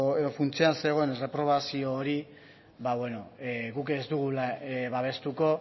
edo funtsean zegoen reprobazio hori guk ez dugula babestuko